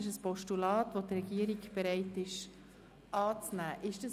Die Regierung ist bereit, dieses anzunehmen.